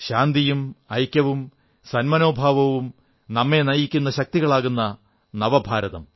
ശാന്തിയും ഐക്യവും സന്മനോഭാവവും നമ്മെ നയിക്കുന്ന ശക്തികളാകുന്ന നവഭാരതം